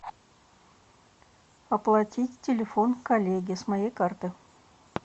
оплатить телефон коллеги с моей карты